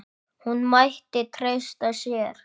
Hún mætti treysta sér.